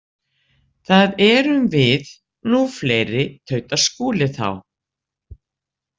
Það erum við nú fleiri, tautar Skúli þá.